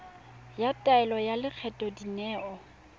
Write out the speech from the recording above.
ya taelo ya lekgetho dineo